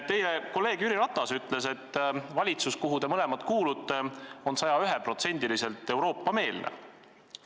Teie kolleeg Jüri Ratas ütles, et valitsus, kuhu te mõlemad kuulute, on 101%-liselt Euroopa-meelne.